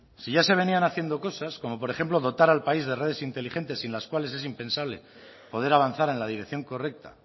si ya se venían haciendo cosas como por ejemplo dotar al país de redes inteligentes sin las cuales es impensable poder avanzar en la dirección correcta